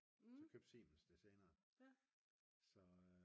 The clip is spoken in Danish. så købte Siemens det senere så